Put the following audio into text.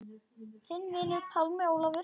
Þinn vinur, Pálmi Ólafur.